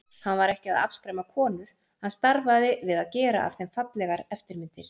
Hann var ekki að afskræma konur, hann starfaði við að gera af þeim fallegar eftirmyndir.